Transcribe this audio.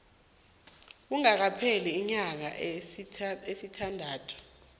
kungakapheli iinyanga ezisithandathu